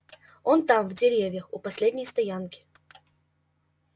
он там в деревьях у последней стоянки